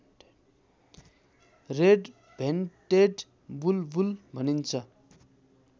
red-vented बुलबुल भनिन्छ